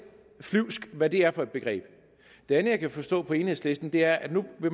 flyvsk hvad det er for et begreb det andet jeg kan forstå på enhedslisten er at man nu